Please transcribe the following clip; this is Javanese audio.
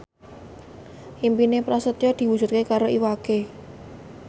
impine Prasetyo diwujudke karo Iwa K